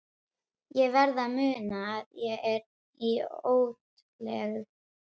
Ég verð að muna að ég er í útlegð.